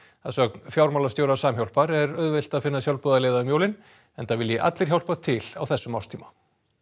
að sögn fjármálastjóra Samhjálpar er auðvelt að finna sjálfboðaliða um jólin enda vilji allir hjálpa til á þessum árstíma